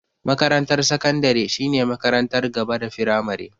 Makarantar sakandare shine makarantar gaba da firamare.